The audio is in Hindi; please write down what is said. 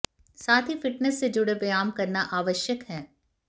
साथ ही फिटनेस से जुड़े व्यायाम करना आवश्यक है